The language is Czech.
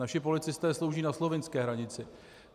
Naši policisté slouží na slovinské hranici.